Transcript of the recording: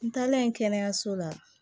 N taalen kɛnɛyaso la